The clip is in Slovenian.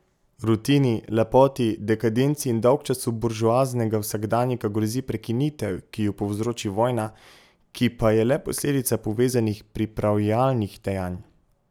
Rutini, lepoti, dekadenci in dolgčasu buržoaznega vsakdanjika grozi prekinitev, ki jo povzroči vojna, ki pa je le posledica povezanih pripravljalnih dejanj.